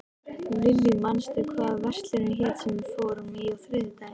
Lillý, manstu hvað verslunin hét sem við fórum í á þriðjudaginn?